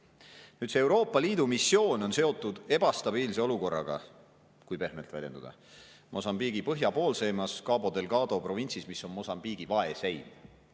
Nüüd, see Euroopa Liidu missioon on seotud ebastabiilse olukorraga, kui pehmelt väljenduda, Mosambiigi põhjapoolseimais, Cabo Delgado provintsis, mis on Mosambiigi vaeseim.